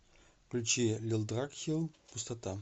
включи лилдрагхилл пустота